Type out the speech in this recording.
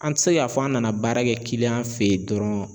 An te se ka fɔ an nana baara kɛ fe yen dɔrɔn